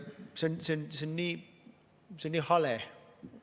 See on nii hale!